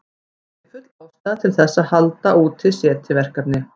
Það er því full ástæða til þess að halda úti SETI-verkefni.